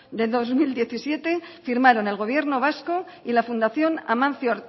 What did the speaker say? de dos mil diecisiete firmaron el gobierno vasco y la fundación amancio